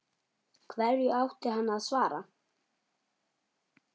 Hverju átti hann að svara?